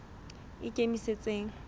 ikemetseng